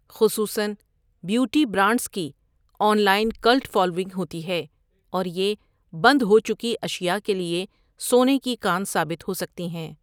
خصوصا beauty brands کی online cult following ہوتی ہے، اور یہ بند ہو چکی اشیاء کے لیے سونے کی کان ثابت ہو سکتی ہیں۔